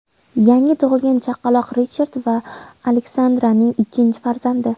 Yangi tug‘ilgan chaqaloq Richard va Alexandraning ikkinchi farzandi.